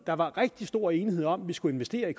der var rigtig stor enighed om at vi skulle investere i